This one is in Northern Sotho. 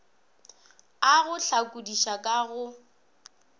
a go hlakodiša ka go